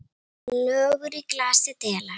Lögur í glasi dela.